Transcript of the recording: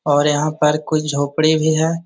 और यहाँ पर कुछ झोपड़ी भी है |